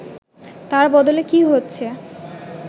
তার বদলে কী হচ্ছে